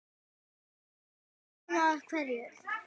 Hver er búinn að hverju?